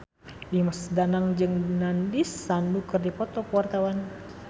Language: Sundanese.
Dimas Danang jeung Nandish Sandhu keur dipoto ku wartawan